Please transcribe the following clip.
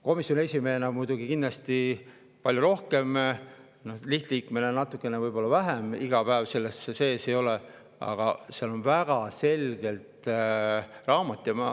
Komisjoni esimehena muidugi palju rohkem, lihtliikmena olen võib-olla natukene vähem, sest iga päev selles sees ei ole, aga seal on väga selge raamat.